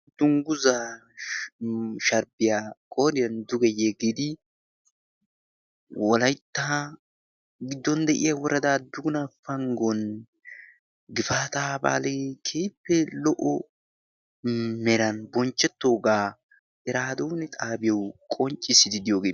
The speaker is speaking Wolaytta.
dungguzaa sharppiyaa qoriyan duge yegidi wolaittaa giddon de7iya worada duuna panggon gifaata baali keippe lo77o meran bonchchettoogaa iraaduun xaabiyou qonccissididiyoog